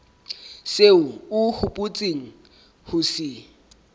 seo o hopotseng ho se